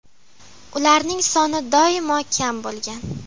Ularning soni doimo kam bo‘lgan.